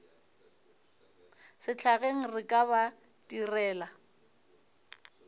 sehlageng re ka ba direla